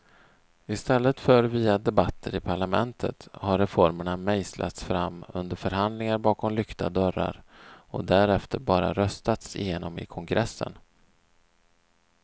I stället för via debatter i parlamentet har reformerna mejslats fram under förhandlingar bakom lyckta dörrar och därefter bara röstats igenom i kongressen.